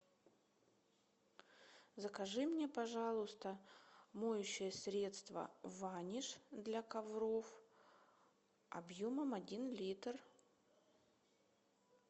закажи мне пожалуйста моющее средство ваниш для ковров объемом один литр